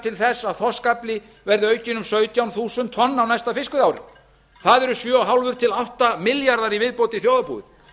til þess að þorskafli verði aukinn um sautján þúsund tonn á næsta fiskveiðiári það eru sjö og hálft til átta milljarðar í viðbót í þjóðarbúið